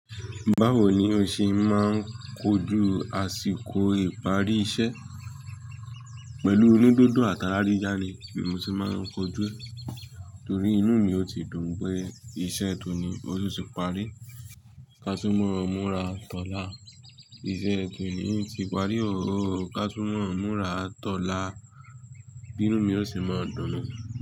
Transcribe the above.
Báwo ni ó ṣe máa ń kojú àsìkò ìparí iṣẹ́? Pẹ̀lú inu dundun àt'àra yiya ni mi ti máa ń kojú, torí inú mi ó ti dùn pé iṣẹ́ tòní o tun tun parí. Ka túmọ̀ múra tọ́lá. Iṣẹ́ tòní ti parí óóó, ka túmọ̀ múra tọ́lá. Inú mi ó sì máa dùn nu.